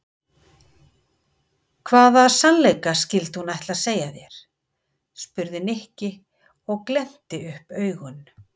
Hvaða sannleika skyldi hún ætla að segja þér? spurði Nikki og glennti upp augun.